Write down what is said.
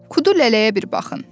Kudu Lələyə bir baxın.